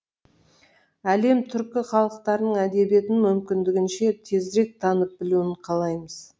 әлем түркі халықтарының әдебиетін мүмкіндігінше тезірек танып білуін қалаймыз